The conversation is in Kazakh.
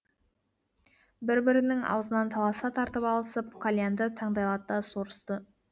бір бірінің аузынан таласа тартып алысып кольянды таңдайлата сорысты